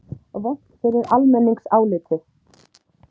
Vont fyrir almenningsálitið?